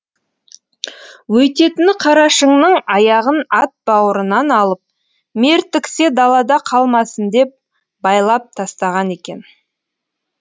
өйтетіні қарашыңның аяғын ат бауырынан алып мертіксе далада қалмасын деп байлап тастаған екен